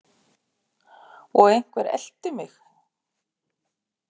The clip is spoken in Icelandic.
Og einhver elti mig.